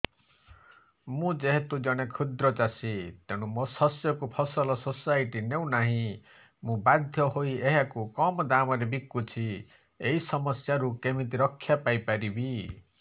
ମୁଁ ଯେହେତୁ ଜଣେ କ୍ଷୁଦ୍ର ଚାଷୀ ତେଣୁ ମୋ ଶସ୍ୟକୁ ଫସଲ ସୋସାଇଟି ନେଉ ନାହିଁ ମୁ ବାଧ୍ୟ ହୋଇ ଏହାକୁ କମ୍ ଦାମ୍ ରେ ବିକୁଛି ଏହି ସମସ୍ୟାରୁ କେମିତି ରକ୍ଷାପାଇ ପାରିବି